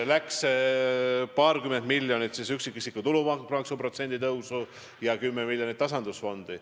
Eraldasime paarkümmend miljonit eurot üksikisiku tulumaksu puudutava protsendi tõusuks ja 10 miljonit tasandusfondi.